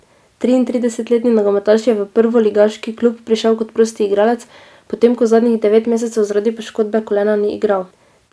Triintridesetletni nogometaš je v prvoligaški klub prišel kot prosti igralec, potem ko zadnjih devet mesecev zaradi poškodbe kolena ni igral.